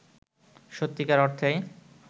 সত্যিকার অর্থেই